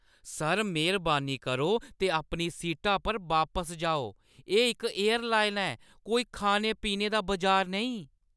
Sir, मेह्‌रबानी करो ते अपनी सीटा पर बापस जाओ। एह् इक एयरलाइन ऐ, कोई खाने-पीने दा बजार नेईं!